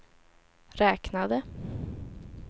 räknade